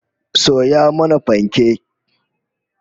Soya mana fanke!